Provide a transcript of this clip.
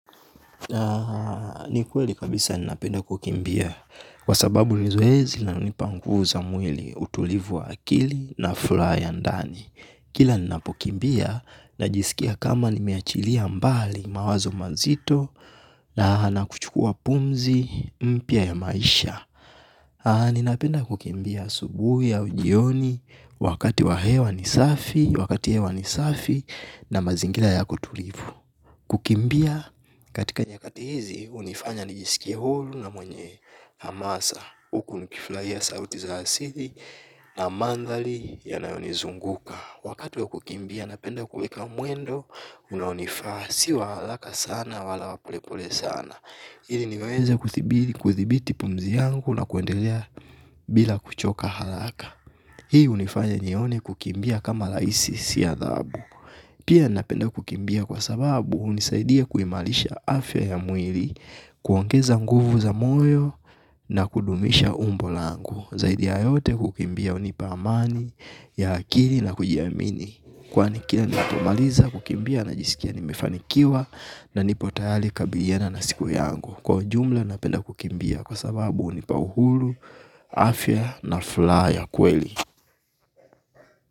Na ni kweli kabisa ni napenda kukimbia. Kwa sababu ni zoezi linalo nipa nguvu za mwili utulivu wa akili na fulaa ya ndani. Kila ni napokimbia na jisikia kama ni meachilia mbali mawazo mazito. Na na kuchukua pumzi mpya ya maisha. Ni napenda kukimbia asubui au jioni. Wakati wa hewa ni safi, wakati hewa ni safi. Na mazingila yako tulivu. Kukimbia katika nyakati hizi unifanya nijisikie hulu na mwenye hamasa. Huku nikiflaia sauti za asihi na mandhari yanayo ni zunguka wakati wa kukimbia napenda kuweka mwendo unaonifaa sio wa halaka sana wala wa polepole sana. Hili niweze kuthibiti pumzi yangu na kuendelea bila kuchoka halaka. Hii unifanya nyione kukimbia kama laisi siya dhabu. Pia napenda kukimbia kwa sababu hunisaidia kuimalisha afya ya mwili kuongeza nguvu za moyo na kudumisha umbo langu. Zaidi ya yote kukimbia hunipa amani ya akili na kujiamini. Kwani kila nipomaliza kukimbia na jisikia nimefanikiwa na nipotayali kabiriana na siku yangu. Kwa ujumla napenda kukimbia kwa sababu unipa uhuru, afya na fula ya kweli.